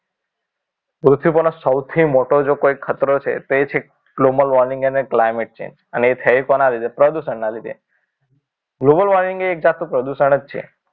પૃથ્વી પરનું સૌથી મોટું જો કોઈ ખતરો છે તે છે global warming અને climate change અને એ થઈ કોના લીધે પ્રદૂષણના લીધે global warming એક જાતનું પ્રદૂષણ જ છે